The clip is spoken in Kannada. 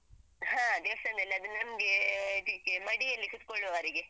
ಹಾ ದೇವಸ್ಥಾನದಲ್ಲಿ ಅದು ನಮ್ಗೆ ಇದಿಕ್ಕೆ ಮಡಿಯಲ್ಲಿ ಕೂತ್ಕೋಳ್ಳುವವರಿಗೆ.